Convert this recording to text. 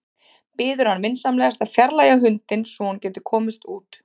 Biður hann vinsamlegast að fjarlægja hundinn svo að hún geti komist út.